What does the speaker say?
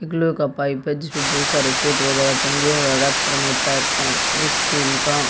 एक लोहे का पाइप है जिसपे बहुत सारे कोट वगैरा टंगे हुए हैं रैपर में पैक हैं एक स्टील का--